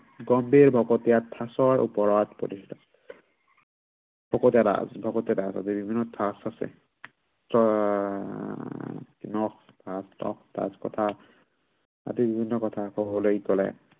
গম্ভীৰ ভকতীয়া ঠাঁচৰ ওপৰত প্ৰতিষ্ঠিত। ভকতীয়া ঠাঁচ আছে। ভকতীয়া ঠাঁচ আছে, আদি বিভিন্ন ঠাঁচ আহ আদি বিভিন্ন কথা কবলৈ গলে